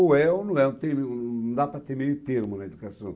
Ou é ou não é. Não dá para ter meio termo na educação.